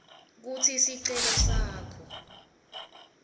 kutsi sicelo sakho